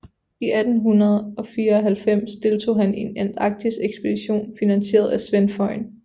I 1894 deltog han i en antarktisekspedition finansieret af Svend Foyn